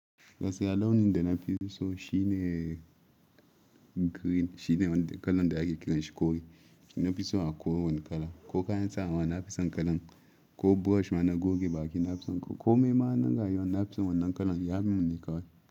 Gaskiya launi dena fiso shine green shine wanda kalan da ake kiranshi kore. Shi na fiso a ko wanda kala. Ko kayan tsawa na fison kalan. Ko brush mana goge baki na fison. Ko kome na rayuwa na fiso wannan kalan ya min ni kawai.